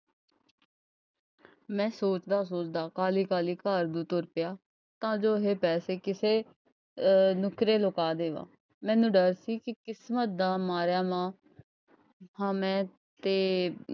ਮੈਂ ਸੋਚਦਾ ਸੋਚਦਾ ਕਾਹਲੀ ਕਾਹਲ਼ੀ ਘਰ ਨੂੰ ਤੁਰ ਪਿਆ। ਤਾਂ ਜੋ ਇਹ ਪੈਸੇ ਕਿਸੇ ਅਹ ਨੁੱਕਰੇ ਲਗਾ ਦੇਵਾਂ ਮੈਨੂੰ ਡਰ ਸੀ ਕਿ ਕਿਸਮਤ ਦਾ ਮਾਰਾ ਵਾਂ ਹਾਂ ਮੈਂ ਤੇ,